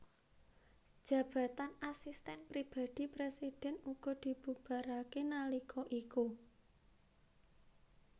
Jabatan Asisten Pribadi Presiden uga dibubarake nalika iku